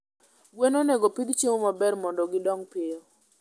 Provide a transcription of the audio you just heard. gwen onegopidh chiemo maber mondi gidong piyo